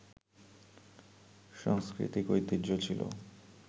সাংস্কৃতিক ঐতিহ্য ছিল